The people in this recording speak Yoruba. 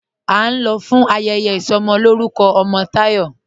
́A ń lọ̀ fún ayẹyẹ isọmọlọ̀rùkọ̀ ọmọ Tayọ́.